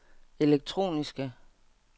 elektroniske